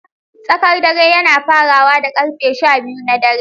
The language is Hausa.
Tsakar dare yana farawa da karfe shabiyu na dare.